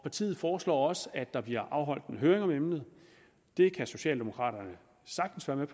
partiet foreslår også at der bliver afholdt en høring om emnet det kan socialdemokraterne sagtens være med